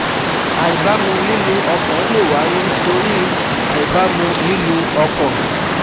Àìbámu lílù ọkàn lè wáyé torí ì àìbámú lihlù ọkàn